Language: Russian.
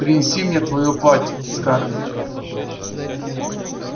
принеси мне твоё платье скарлетт